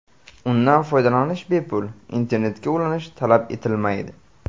Undan foydalanish bepul, internetga ulanish talab etilmaydi.